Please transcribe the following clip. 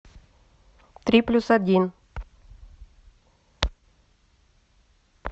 три плюс один